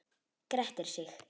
Grettir sig.